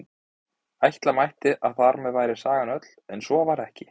Ætla mætti að þar með væri sagan öll, en svo er ekki.